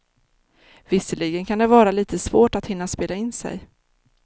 Visserligen kan det vara lite svårt att hinna spela in sig.